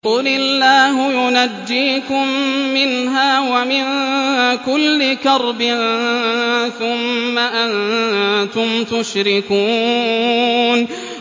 قُلِ اللَّهُ يُنَجِّيكُم مِّنْهَا وَمِن كُلِّ كَرْبٍ ثُمَّ أَنتُمْ تُشْرِكُونَ